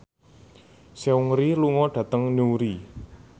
Seungri lunga dhateng Newry